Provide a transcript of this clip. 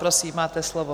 Prosím, máte slovo.